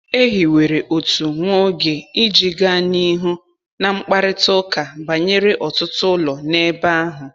E hiwere otu nwa oge iji gaa n’ihu na mkparịta ụka banyere ọtụtụ ụlọ n’ebe ahụ.